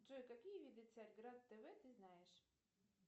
джой какие виды царьград тв ты знаешь